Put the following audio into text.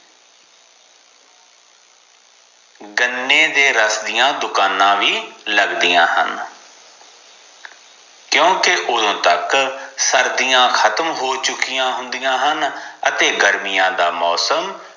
ਗੰਨੇ ਦੇ ਰਾਸ ਦੀਆ ਦੁਕਾਨਾਂ ਵੀ ਲੱਗਦੀਆਂ ਹਨ ਕਿਓਂਕਿ ਓਦੋ ਤਕ ਸਰਦੀਆਂ ਖਤਮ ਹੋ ਚੁੱਕਿਆ ਹੁੰਦੀਆਂ ਹਨ ਅਤੇ ਗਰਮੀਆਂ ਦਾ ਮੌਸਮ